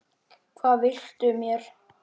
Hvað viltu mér?